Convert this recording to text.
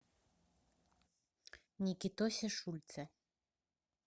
никитосе шульце